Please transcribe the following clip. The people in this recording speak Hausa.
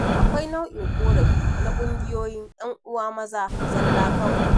Akawi nau'in ƙorafi na ƙungiyoyin 'yan uwa maza zalla kawai.